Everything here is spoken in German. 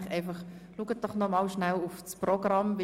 Ich möchte Ihnen noch einmal nahelegen, das Programm anzuschauen.